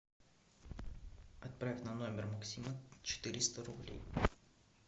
отправь на номер максима четыреста рублей